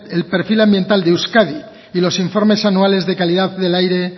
el perfil ambiental del euskadi y los informes anuales de calidad del aire